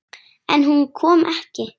En hún kom ekki.